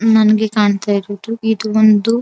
ನನಗೆ ಕಾಣತ್ತಾ ಇರೋದು ಇದು ಒಂದು --